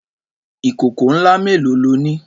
Ìkòkò ńlá mélòó lo ní?